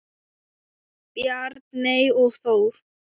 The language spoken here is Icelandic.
Bjarney og Þór.